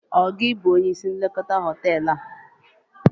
Ọ gị bụ onye isi nlekọta hoteelu a?